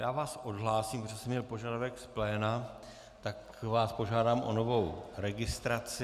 Já vás odhlásím, protože jsem měl požadavek z pléna, tak vás požádám o novou registraci.